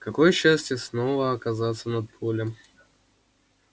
какое счастье снова оказаться над полем